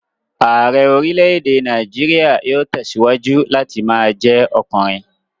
Ààrẹ́ orílè-èdè Nàìjíríà yóò tẹ̀síwájú láti ma jẹ́ ọkùnrin